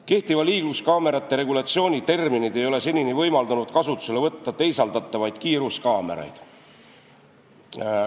Kehtiva liikluskaamerate regulatsiooni terminid ei ole senini võimaldanud kasutusele võtta teisaldatavaid kiiruskaameraid.